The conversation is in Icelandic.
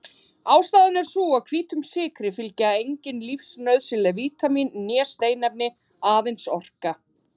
Ástæðan er sú að hvítum sykri fylgja engin lífsnauðsynleg vítamín né steinefni- aðeins orka.